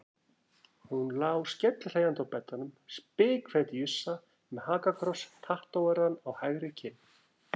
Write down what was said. Hún lá skellihlæjandi á beddanum, spikfeit jússa með hakakross tattóveraðan á hægri kinn.